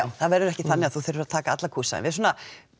það verður ekki þannig að þú þurfir að taka alla kúrsa en við svona